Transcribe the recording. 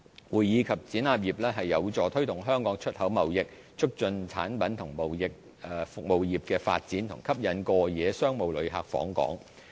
會議及展覽業有助推動香港出口貿易，促進產品及服務業發展和吸引過夜商務旅客訪港。